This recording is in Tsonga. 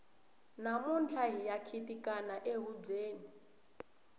namuntlha hiya khitikana ehubyeni